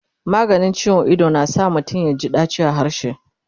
maganin ciwon Ido na sa mutum yaji daci a harshe